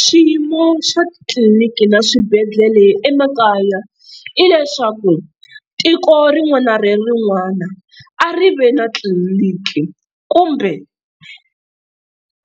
swiyimo swa titliliniki na swibedhlele emakaya hileswaku tiko rin'wana ni rin'wana a ri ve na tliliniki kumbe